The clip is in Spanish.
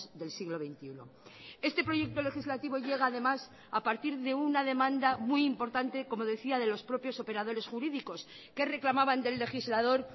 del siglo veintiuno este proyecto legislativo llega además a partir de una demanda muy importante como decía de los propios operadores jurídicos que reclamaban del legislador